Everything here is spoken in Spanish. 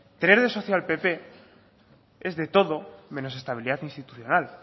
tener de socio al pp es de todo menos estabilidad institucional